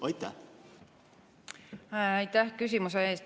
Aitäh küsimuse eest!